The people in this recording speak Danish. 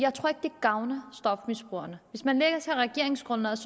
gavner stofmisbrugerne hvis man læser regeringsgrundlaget